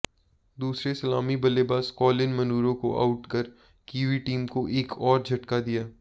दूसरे सलामी बल्लेबाज कॉलिन मुनरो को आउट कर कीवी टीम को एक और झटका दिया